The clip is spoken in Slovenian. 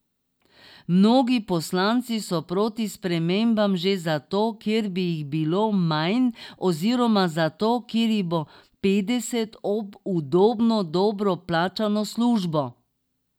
Mnogi poslanci so proti spremembam že zato, ker bi jih bilo manj, oziroma zato, ker jih bo petdeset ob udobno, dobro plačano službo.